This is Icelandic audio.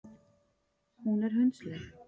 Hún er hundsleg.